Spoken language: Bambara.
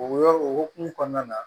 O yɔrɔ o hukumu kɔnɔna na